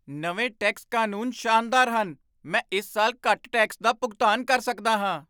ਨਵੇਂ ਟੈਕਸ ਕਾਨੂੰਨ ਸ਼ਾਨਦਾਰ ਹਨ! ਮੈਂ ਇਸ ਸਾਲ ਘੱਟ ਟੈਕਸ ਦਾ ਭੁਗਤਾਨ ਕਰ ਸਕਦਾ ਹਾਂ!